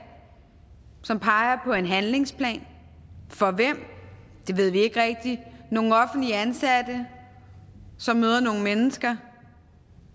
som peger på en handlingsplan for hvem det ved vi ikke rigtigt nogle offentligt ansatte som møder nogle mennesker